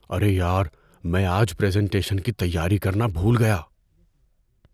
ارے یار! میں آج پریزنٹیشن کی تیاری کرنا بھول گیا۔